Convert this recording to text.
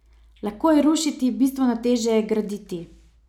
Lahko je rušiti, bistveno težje je graditi.